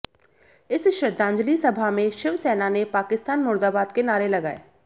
इस श्रद्धांजली सभा में शिवसेना ने पाकिस्तान मुर्दाबाद के नारे लगाए